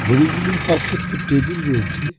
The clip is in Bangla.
ঘড়িগুলির পাশে একটি টেবিল রয়েছে।